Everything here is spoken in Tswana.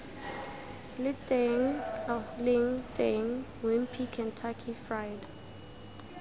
leng teng wimpy kentucky fried